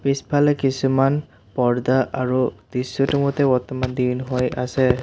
পিছফালে কিছুমান পৰ্দা আৰু দৃশ্যটোৰ মতে বৰ্তমান দিন হৈ আছে।